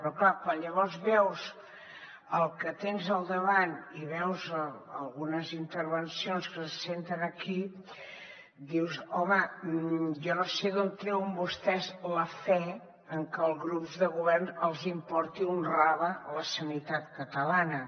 però clar quan llavors veus el que tens al davant i veus algunes intervencions que se senten aquí dius home jo no sé d’on treuen vostès la fe en que als grups del govern els importi un rave la sanitat catalana